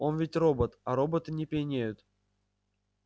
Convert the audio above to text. он ведь робот а роботы не пьянеют